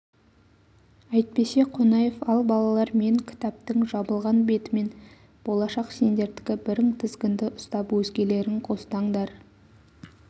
әйтпесе қонаев ал балалар мен кітаптың жабылған бетімен болашақ сендердікі бірің тізгінді ұстап өзгелерің қостаңдар